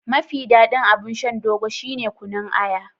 Mafi daɗin abun shan Dogo shine kunun aya.